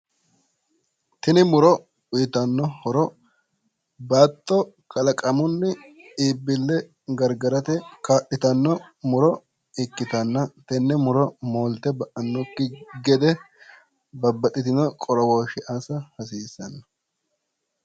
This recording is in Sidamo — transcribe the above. tini muro uyiitanno horo baatto kalaqamunni iibbille gargarate kaa'litanno muro ikkitanna, tenne muro moolte ba'annokki gede babbaxxitino qorowooshshe assa hasiissanno.